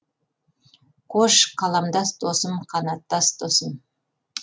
қош қаламдас досым қанаттас досым